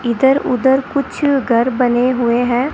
इधर उधर कुछ घर बने हुए है।